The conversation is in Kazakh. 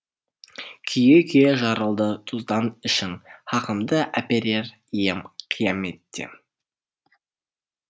күйе күйе жарылды тұздан ішің хақымды әперер ием қияметте